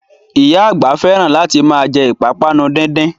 Oya àgbà fẹ́ràn láti ma jẹ́ ìpápánu díndín